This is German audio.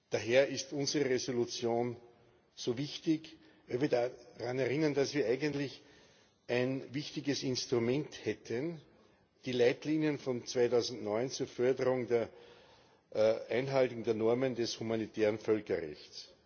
Daher ist unsere Resolution so wichtig, denn wir erinnern daran, dass wir eigentlich ein wichtiges Instrument hätten die Leitlinien von 2009 zur Förderung der Einhaltung der Normen des humanitären Völkerrechts.